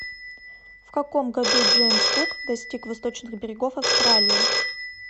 в каком году джеймс кук достиг восточных берегов австралии